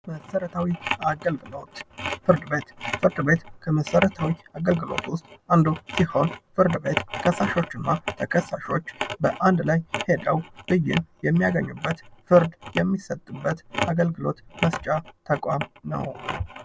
መሰረታዊ አገልግሎት ፍርድ ቤት ፍርድ ቤት ከመሰረታዊ አገልግሎት ዉስጥ አንዱ ሲሆን ፍርድቤት ከሳሾቹ እና ተከሳሾች በአንድ ላይ ሄደው ብይን የሚያገኙበት ፍርድ የሚሰጥበት አግልግሎት መስጫ ተቋም ነው::